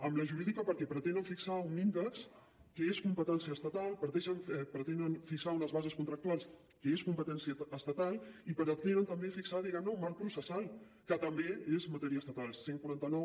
amb la jurídica perquè pretenen fixar un índex que és competència estatal pretenen fixar unes bases contractuals que són competència estatal i pretenen també fixar diguem ne un marc processal que també és matèria estatal cent i quaranta nou